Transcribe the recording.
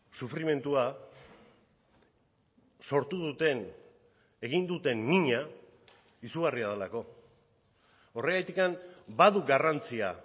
sufrimendua sortu duten egin duten mina izugarria delako horregatik badu garrantzia